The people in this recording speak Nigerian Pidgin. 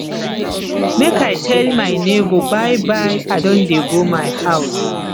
make i tell my nebor byebye i don dey go my house